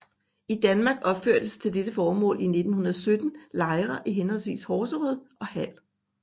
I Danmark opførtes til dette formål i 1917 lejre i henholdsvis Horserød og Hald